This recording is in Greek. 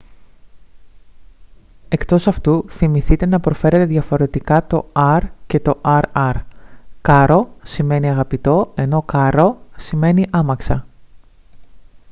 εκτός αυτού θυμηθείτε να προφέρετε διαφορετικά το r και το rr caro σημαίνει αγαπητό ενώ carro σημαίνει άμαξα